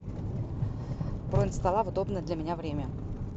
бронь стола в удобное для меня время